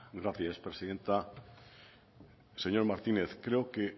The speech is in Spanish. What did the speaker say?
gracias presidenta señor martínez creo que